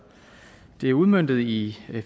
det er udmøntet i